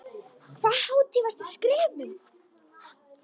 Hvaða hátíð varstu að skrifa um?